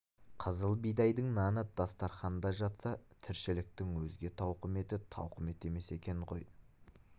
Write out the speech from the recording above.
қызыл бидайдың наны дастарқанда жатса тіршіліктің өзге тауқыметі тауқымет емес екен ғой